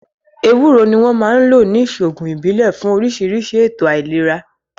Ewúro ni wọ́n máa ń lò ní ìṣòògùn ìbílẹ̀ fún oríṣiríṣi ètò àìlera